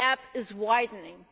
The gap is widening.